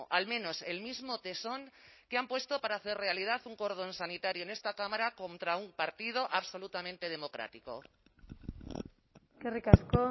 al menos el mismo tesón que han puesto para hacer realidad un cordón sanitario en esta cámara contra un partido absolutamente democrático eskerrik asko